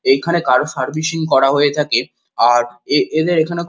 এখানে car servicing করা হয়ে থাকে আর এ এদের এখানে খু--